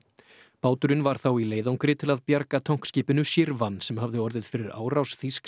báturinn var þá í leiðangri til að bjarga tankskipinu Shirvan sem hafði orðið fyrir árás þýsks